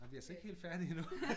Nej vi altså ikke helt færdige endnu